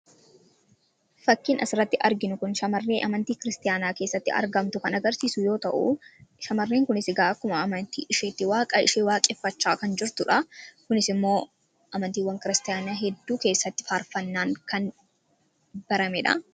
fakkiin asiratti arginu kun shamarree amantii kiristaanaa keessatti argamtu kan agarsiisu yoo ta'u shamarreen kunis akkuma amantii isheetti waaqaa ishee waaqeffachaa kan jirtudha kunis immoo amantiiwwan kiristaana hedduu keessatti faarfannaan kan barameedha